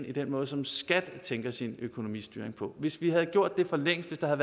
i den måde som staten og skat tænker sin økonomistyring på hvis vi havde gjort det for længst hvis der